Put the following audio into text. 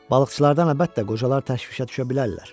Balıqçılardan əlbəttə, qocalar təşvişə düşə bilərlər.